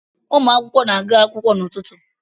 Ụmụ akwụkwọ na-aga akwụkwọ n’ụtụtụ